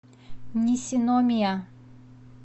нисиномия